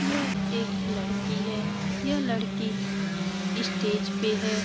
यह एक लड़की है यह लड़की स्टेज पे है।